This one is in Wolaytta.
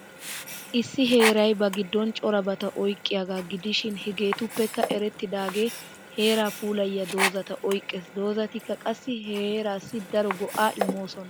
Issi heeray ba giddon corabata oyqqiyaaga gidishin hegeetuppekka erettidaage heera puulayiya doozata oyqqees. Doozatikka qassi he heerassi daro go'aa immoosona.